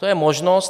To je možnost.